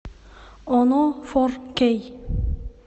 оно фор кей